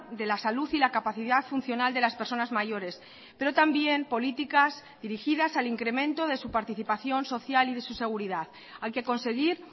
de la salud y la capacidad funcional de las personas mayores pero también políticas dirigidas al incremento de su participación social y de su seguridad hay que conseguir